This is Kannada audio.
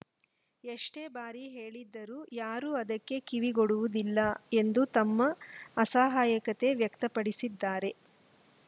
ಎಷ್ಟೇ ಬಾರಿ ಹೇಳಿದರೂ ಯಾರು ಅದಕ್ಕೆ ಕಿವಿಗೊಡುವುದಿಲ್ಲ ಎಂದು ತಮ್ಮ ಅಸಹಾಯಕತೆ ವ್ಯಕ್ತಪಡಿಸಿದ್ದಾರೆ